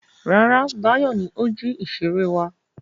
Rárá, Báyọ̀ ni ó jí ìṣeré wa.